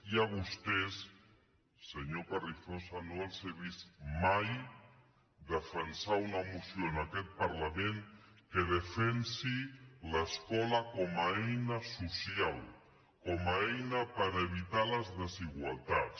i a vostès senyor carrizosa no els he vist maidefensar una moció en aquest parlament que defensi l’escola com a eina social com a eina per evitar les desigualtats